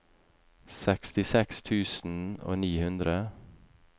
sekstiseks tusen og ni hundre